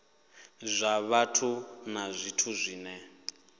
zwa vhathu na zwithu zwine